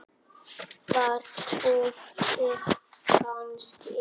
Var duftið kannski gallað?